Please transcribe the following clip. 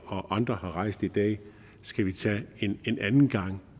og andre har rejst i dag skal vi tage en anden gang